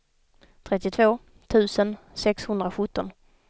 trettiotvå tusen sexhundrasjutton